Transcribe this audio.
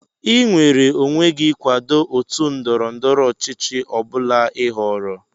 Ị nweere onwe gị ịkwado otu ndọrọ ndọrọ ọchịchị ọ bụla ị họọrọ